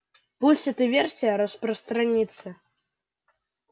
пусть эта версия распространится